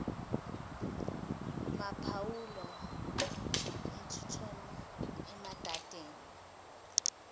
maphumulo eturton emadadeni